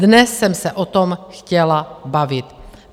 Dnes jsem se o tom chtěla bavit.